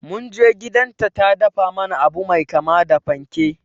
Munje gidan ta ta dafa mana abu mai kama da panke